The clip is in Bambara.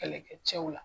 Kɛlɛkɛcɛw la